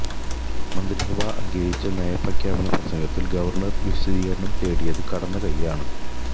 മന്ത്രിസഭ അംഗീകരിച്ച നയപ്രഖ്യാപന പ്രസംഗത്തിൽ ഗവർണർ വിശദീകരണം തേടിയത് കടന്ന കൈയാണ്